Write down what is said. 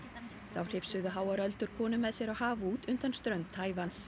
þá hrifsuðu háar öldur konu með sér á haf út undan strönd